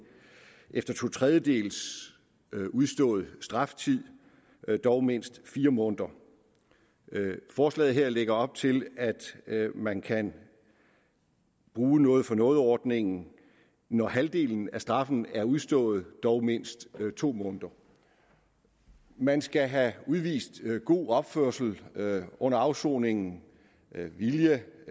efter to tredjedele af udstået straftid dog mindst fire måneder forslaget her lægger op til at man kan bruge noget for noget ordningen når halvdelen af straffen er udstået dog mindst to måneder man skal have udvist god opførsel under afsoningen vilje